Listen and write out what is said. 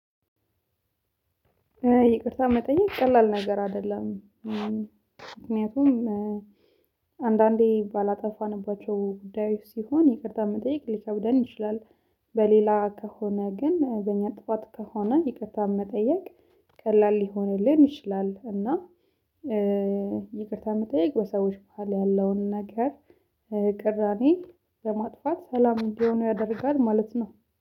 ይቅርታ መጠየቅ ቀላል ነገር አደለም። ምክንያቱም አንዳንዴ ባላጠፋንባቸው ጉዳዮች ሲሆን ይቅርታ መጠየቅ ሊከብደን ይችላል። በሌላ ከሆነ ግን በኛ ጥዋት ከሆነ ይቅርታ መጠየቅ ቀላል ሊሆንልን ይችላል። እና ይቅርታ መጠየቅ በሰዎች በኋላ ያለውን ነገር ቅራኔ ለማጥፋት ሰላም እንዲሆኑ ያደርጋል ማለት ነው